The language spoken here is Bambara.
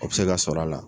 O bɛ se ka sɔrɔ a la